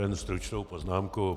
Jen stručnou poznámku.